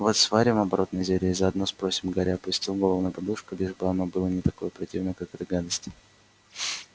вот сварим оборотное зелье и заодно спросим гарри опустил голову на подушку лишь бы оно было не такое противное как эта гадость